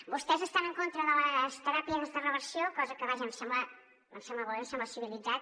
vostès estan en contra de les teràpies de reversió cosa que vaja em sembla molt bé em sembla civilitzat